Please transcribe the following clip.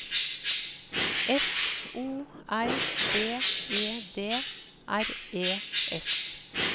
F O R B E D R E S